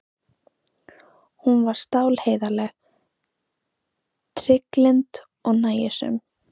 Hún var stálheiðarleg, trygglynd og nægjusöm.